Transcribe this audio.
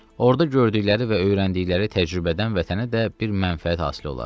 Orda gördükləri və öyrəndikləri təcrübədən vətənə də bir mənfəət hasil ola.